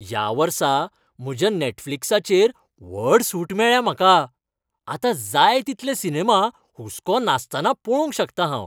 ह्या वर्सा म्हज्या नेटफ्लिक्साचेर व्हड सूट मेळ्ळ्या म्हाका. आतां जाय तितले सिनेमा हुसको नासतना पळोवंक शकतां हांव.